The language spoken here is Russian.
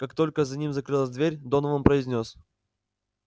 как только за ним закрылась дверь донован произнёс